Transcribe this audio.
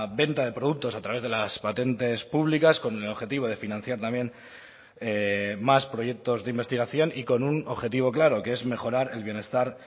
venta de productos a través de las patentes públicas con el objetivo de financiar también más proyectos de investigación y con un objetivo claro que es mejorar el bienestar